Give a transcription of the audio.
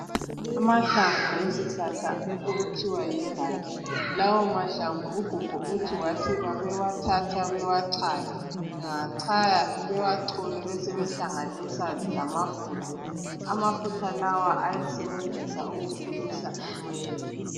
Amahlamvu esihlahla okuthiwa yimbanje lawo mahlamvu ugogo uthi wathi ,babewathatha bewacaye, bangawacaya bewacole besebehlanganisa lamafutha amafutha lawa ayesebenzisa ukukhulisa inwele.